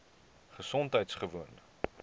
gesondheidgewoon